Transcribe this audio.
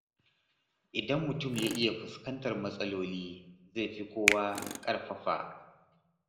Idan mutum ya iya fuskantar matsaloli, zai fi kowa ƙarfafa.